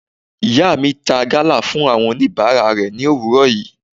Ìyá mi ta gala fún àwọn oníbàárà rẹ̀ ni òwúrọ̀ yìí.